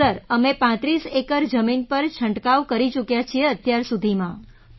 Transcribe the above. sir અમે ૩5 acre જમીન પર છંટકાવ કરી ચૂક્યાં છીએ અત્યાર સુધીમાં